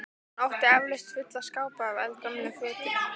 Hún átti eflaust fulla skápa af eldgömlum fötum.